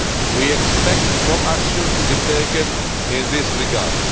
We expect more action to be taken in this regard.